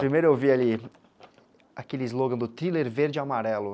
Primeiro eu vi ali aquele slogan do thriller verde e amarelo.